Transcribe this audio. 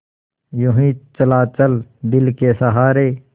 यूँ ही चला चल दिल के सहारे